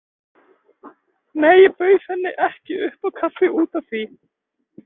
Nei, ég bauð henni ekki upp á kaffi út af því.